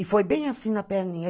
E foi bem assim na perninha.